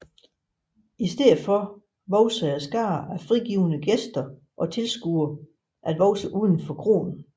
I stedet voksede skaren af frigivne gæster og tilskuere at vokse uden for kroen